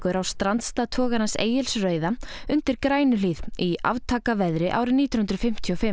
á strandstað togarans Egils rauða undir Grænuhlíð í aftakaveðri árið nítján hundruð fimmtíu og fimm